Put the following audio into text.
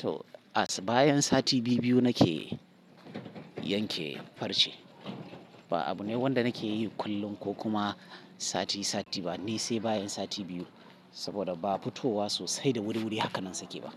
To, a bayan sati biyu-biyu nake yanke farce. Ba abu ne wanda nake yi kullum ko kuma sati-sati ba, ni sai bayan sati biyu. Saboda ba fitowa sosai da wuri-wuri haka nan sake ba.